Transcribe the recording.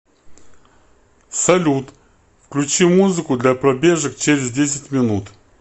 салют включи музыку для пробежек через десять минут